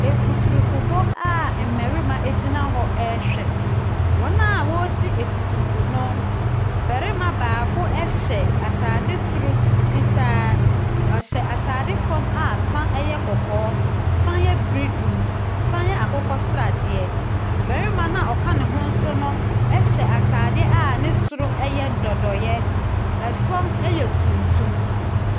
Akuturukubɔ a mmarima gyina hɔ rehwɛ. Wɔn a wɔresi akuturuku no, barima baako hyɛ atade soro fitaa. Ɔhyɛ atade fam a fa yɛ kɔkɔɔ, fa yɛ biridum, fa yɛ akokɔ sradeɛ. Barima no a ɔka ne ho nso no hyɛ atadeɛ a ne soro yɛ dɔdɔeɛ. Fam yɛ tuntum.